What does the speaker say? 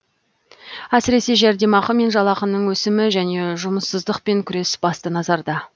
әсіресе жәрдемақы мен жалақының өсімі және жұмыссыздықпен күрес басты назарда